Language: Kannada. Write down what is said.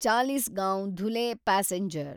ಚಾಲೀಸ್ಗಾಂವ್ ಧುಲೆ ಪ್ಯಾಸೆಂಜರ್